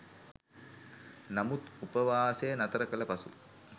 නමුත් උපවාසය නතර කළ පසු